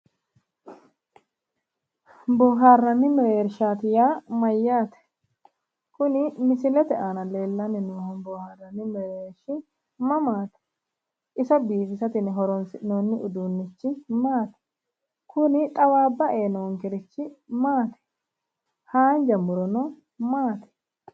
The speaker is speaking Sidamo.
Boohaarranni mereershaati yaa mayyaate kuni misilete aana leellanni noohu boohaarranni mereershi mamaati iso biifisate yine horoonsi'noonni uduunnichi maati kuni xawaabba ee noonkerichino maati haanja murono maati